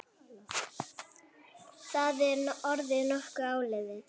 Það er orðið nokkuð áliðið.